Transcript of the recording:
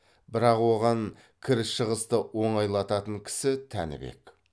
бірақ оған кіріс шығысты оңайлататын кісі тәнібек